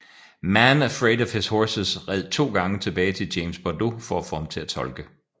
Man Afraid of His Horses red to gange tilbage til James Bordeaux for at få ham til at tolke